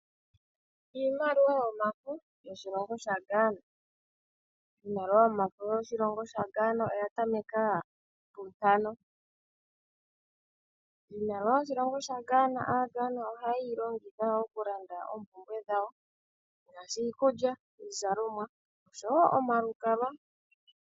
Iimaliwa yomafo yoshilongo shaGhana Iimaliwa yomafo yoshilongo shaGhana oya tameka puntano. Iimaliwa yoshilongo shaGhana, Aaghana ohaye yi longitha okulanda oompumbwe dhawo ngaashi iikulya, iizalomwa nosho wo omalukalwa.